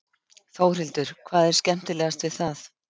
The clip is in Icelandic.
Þórhildur: Hvað er skemmtilegast við það?